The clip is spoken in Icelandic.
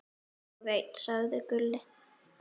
Ég veit, sagði Gulli.